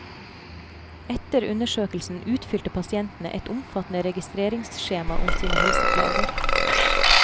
Etter undersøkelsen utfylte pasientene et omfattende registreringsskjema om sine helseplager.